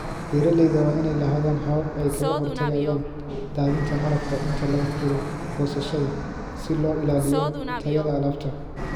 Beeralayda waa inay lahaadaan habab ay kaga hortagayaan daadinta malabka inta lagu jiro goosashada si loo ilaaliyo tayada alaabta.